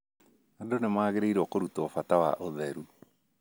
Andũ nĩ magĩrĩirũo kũrutwo bata wa ũtheru.